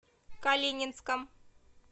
калининском